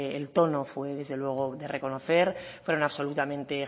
el tono fue de reconocer fueron absolutamente